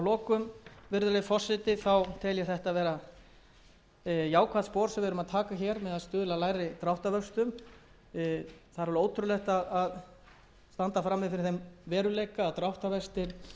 að taka hér með því að stuðla að lægri dráttarvöxtum það er alveg ótrúlegt að standa frammi fyrir þeim veruleika að dráttarvextir geti verið hér að óbreyttu